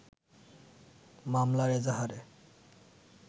মামলার এজাহারে